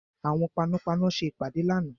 Àwọn panápaná ṣe ìpàdé lánàá.